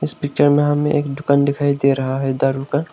इस पिक्चर में हमें एक दुकान दिखाई दे रहा है दारु का।